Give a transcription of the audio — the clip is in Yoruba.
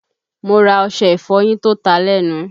Mo ra ọṣẹ ìfọyín tó ta lẹ́nu